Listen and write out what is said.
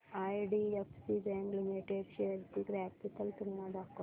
IDFC bank limited shares ची graphical तुलना दाखव